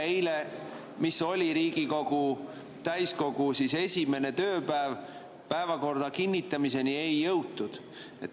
Eile, kui oli Riigikogu täiskogu esimene tööpäev, päevakorra kinnitamiseni ei jõutud.